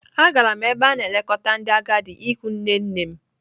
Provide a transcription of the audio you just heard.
Agara m n'ebe a na-elekọta ndị agadi ịhụ nne nne m.